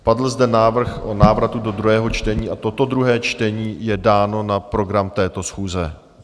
Padl zde návrh o návratu do druhého čtení a toto druhé čtení je dáno na program této schůze.